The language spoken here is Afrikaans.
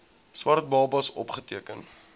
swart babas opgeteken